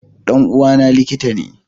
Dan uwa na likitane